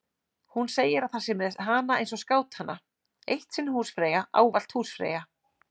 Hún segir að það sé með hana eins og skátana: Eitt sinn húsfreyja, ávallt húsfreyja.